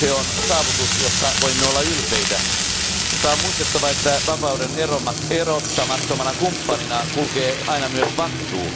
Se on saavutus, josta voimme olla ylpeitä, mutta on muistettava, että vapauden erottamattomana kumppanina kulkee aina myös vastuu.